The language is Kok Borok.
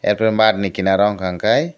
ar pore maat ni kinaro unka kei.